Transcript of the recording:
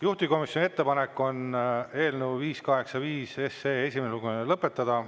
Juhtivkomisjoni ettepanek on eelnõu 585 esimene lugemine lõpetada.